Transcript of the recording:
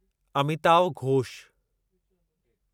Amitav Ghosh